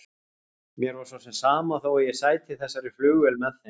Mér var svo sem sama þó ég sæti í þessari flugvél með þeim.